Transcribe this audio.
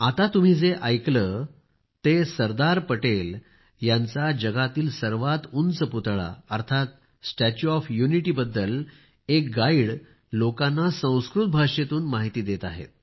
आता तुम्ही जे ऐकले ते सरदार पटेल यांचा जगातील सर्वात उंच पुतळा स्टॅच्यू ऑफ युनिटी बद्दल एक गाईड लोकांना संस्कृत भाषेतून माहिती देत आहे